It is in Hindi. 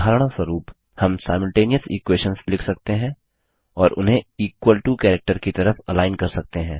उदाहरणस्वरुप हम सिमल्टेनियस इक्वेशंस लिख सकते हैं और उन्हें इक्वल टो कैरेक्टर की तरफ अलाइन कर सकते हैं